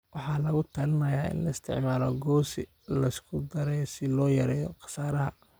Waxaa lagu talinayaa in la isticmaalo goose la isku daray si loo yareeyo khasaaraha.